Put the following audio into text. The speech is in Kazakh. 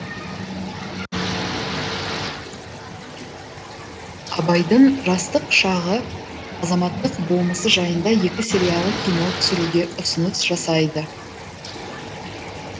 абайдың жастық шағы азаматтық болмысы жайында екі сериялы кино түсіруге ұсыныс жасайды